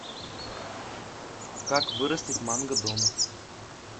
как вырастить манго дома